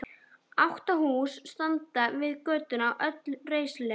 Átta hús standa við götuna, öll reisuleg.